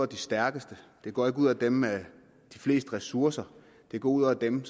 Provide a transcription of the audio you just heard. de stærkeste det går ikke ud over dem med de fleste ressourcer det går ud over dem